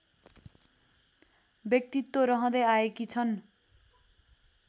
व्यक्तित्व रहँदै आएकी छन्